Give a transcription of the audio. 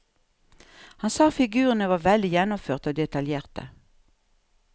Han sa figurene var veldig gjennomførte og detaljerte.